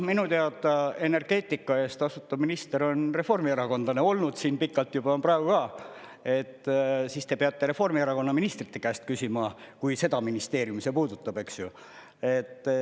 Minu teada energeetika eest vastutav minister on reformierakondlane olnud siin pikalt juba, on praegu ka, et siis te peate Reformierakonna ministrite käest küsima, kui seda ministeeriumi see puudutab, eks ju.